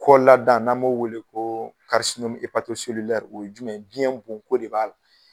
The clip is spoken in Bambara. Kɔ la dan n'an b'o weele ko o ye jumɛn biɲɛ bon o de b'a